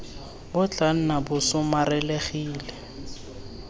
bo tla nna bo somarelegile